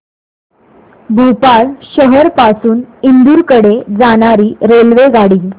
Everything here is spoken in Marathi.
भोपाळ शहर पासून इंदूर कडे जाणारी रेल्वेगाडी